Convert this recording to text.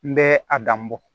N bɛ a dan bɔ